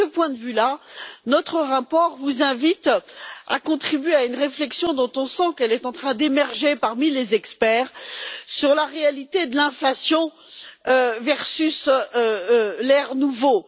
De ce point de vue, notre rapport vous invite à contribuer à une réflexion dont on sent qu'elle est en train d'émerger parmi les experts sur la réalité de l'inflation, alors que souffle un air nouveau.